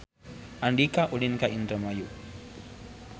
Andika ulin ka Indramayu